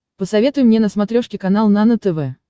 посоветуй мне на смотрешке канал нано тв